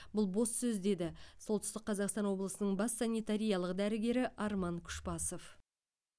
бұл бос сөз деді солтүстік қазақстан облысының бас санитариялық дәрігері арман күшбасов